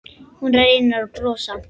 Hún reynir að brosa.